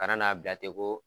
Ka na n'a bilatɛ ko.